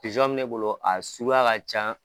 Pizɔn bɛ ne bolo a suguya ka can